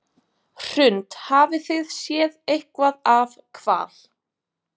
Hrund: Hafið þið séð eitthvað af hval?